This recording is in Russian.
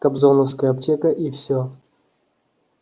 кобзоновская аптека и всё